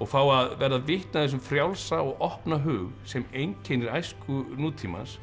og fá að verða vitni að þessum frjálsa og opna hug sem einkennir æsku nútímans